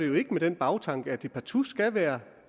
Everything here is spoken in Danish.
jo ikke med den bagtanke at det partout skal være